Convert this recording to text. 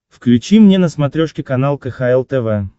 включи мне на смотрешке канал кхл тв